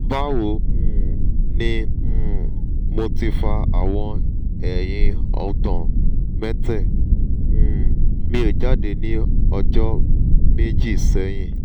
bawo um ni um mo ti fa awon eyin ogbon mette um mi jade ni ojo meji sehin